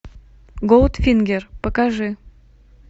голдфингер покажи